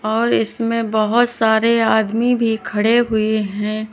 और इसमें बोहोत सारे आदमी भी खड़े हुए हैं।